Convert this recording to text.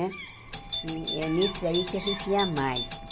Né e é nisso aí que a gente ia mais.